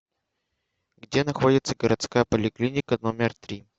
где находится городская поликлиника номер три